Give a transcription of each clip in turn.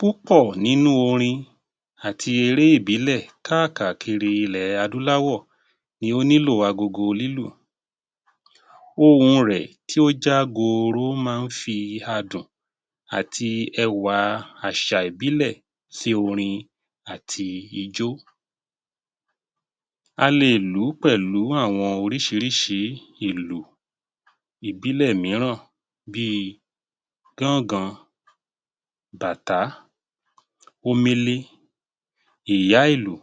Púpọ̀ nínú orin àti eré ìbílẹ̀ kákàkiri ilẹ̀ adúláwò ni ó nílò agogo lílù. Ohùn rẹ̀ tí ó já gooro máa ń fi adùn àti ẹwà àṣà ìbílẹ̀ sí orin àti ijó. A lè lù ú pẹ̀lú àwọn oríṣiríṣi ìlú ìbílẹ̀ míràn bíi gángan, bàtá, omele, ìyá ìlù,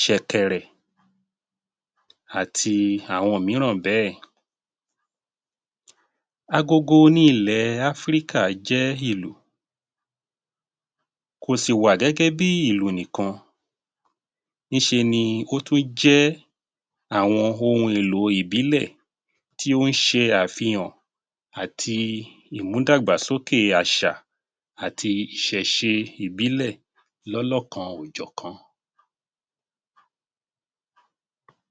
ṣẹ̀kẹ̀rẹ̀ àti àwọn míràn bẹ́ẹ̀. Agogo ní ilẹ̀ Áfríkà jẹ́ ìlù, kò sì wà gẹ́gẹ́ bí ìlù nìkan, ní ṣe ni ó tún jẹ́ àwọn ohun èlò ìbílẹ̀ tí ó ń ṣe àfihàn àti ìmú dàgbà sókè àṣà àti ìṣẹ̀ṣe ìbílẹ̀ lọ́lọ́kan-ò-jọ̀kan.